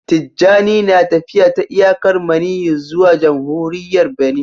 Tijjani na tafiya ta iyakar maniyyi zuwa jamhuriyar Benin